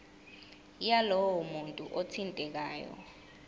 yalowo muntu othintekayo